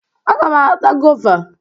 Aga m ata goova.